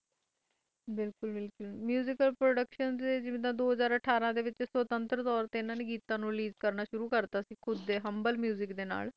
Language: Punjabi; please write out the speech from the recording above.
ਮੁਸ਼ਿਕਲ ਪ੍ਰੋਡਕਤੀਓਂ ਦੋ ਹਰ ਅਠਾਰਾਂ ਵਿਚ ਸ੍ਵਤੰਰ ਤੋਰ ਤੇ ਰੇਲੀਸੇ ਕਰਨਾ ਸਟਾਰਟ ਹੁੰਦਾ ਡੇ ਹੁਮਬਾਲ ਮੁਸਿਕ ਨਾਲ